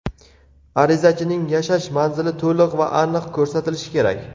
Arizachining yashash manzili to‘liq va aniq ko‘rsatilishi kerak.